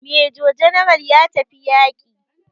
Major general ya tafi yaƙi.